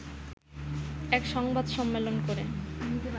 এক সংবাদ সম্মেলন করে